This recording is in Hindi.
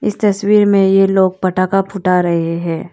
इस तस्वीर ये लोग पटाका फूटा रहे हैं।